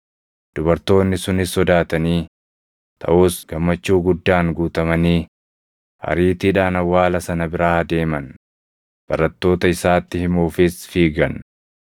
Dubartoonni sunis sodaatanii, taʼus gammachuu guddaan guutamanii ariitiidhaan awwaala sana biraa deeman; barattoota isaatti himuufis fiigan.